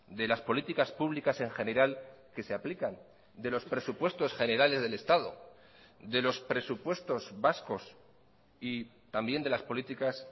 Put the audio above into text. de las políticas públicas en general que se aplican de los presupuestos generales del estado de los presupuestos vascos y también de las políticas